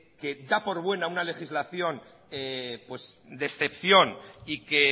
que da por buena una legislación de excepción y que